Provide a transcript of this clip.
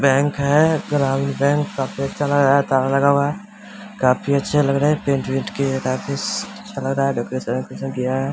Bank है ग्रामीण bank का पोस्टर लगा है | ताला लगा हुआ है | काफी अच्छा लग रहा है | पेंट वेंट किया है | काफी अच्छा लग रहा है | डेकोरेशन वेकोरेशन किया है।